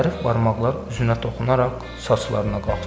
Zərif barmaqlar üzünə toxunaraq saçlarına qalxdı.